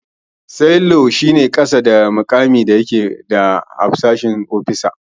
Sailor mutum ne da yake kasa da mukamin hafshi.